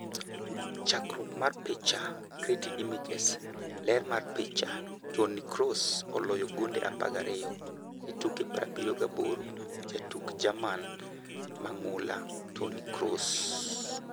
Chakruok mar picha, Getty Images, ler mar picha: Toni Kroos oloyo gonde 12 e tuke 78 . Jatuk Jerman mang'ula: Toni Kroos.